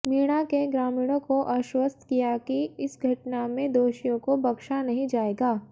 मीणा ने ग्रामीणेां को आश्वस्त किया कि इस घटना में दोषियों को बख्शा नहीं जाएगा